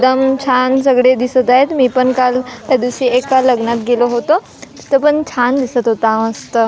एकदम छान सगळे दिसत आहेत मी पण काल त्यादिवशी एका लग्नात गेलो होतो तिथं पण छान दिसत होता मस्त --